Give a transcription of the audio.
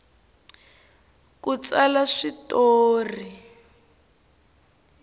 ku tsala swi tori